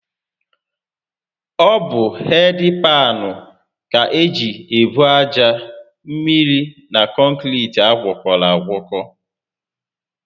Ọ bụ hedị paanụ ka eji ebu aja, mmiri na kọnkiriti agwọkọrọ agwọkọ